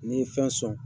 N'i ye fɛn sɔn